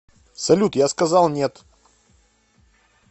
салют я сказал нет